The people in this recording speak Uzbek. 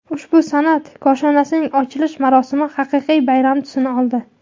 Ushbu san’at koshonasining ochilish marosimi haqiqiy bayram tusini oldi.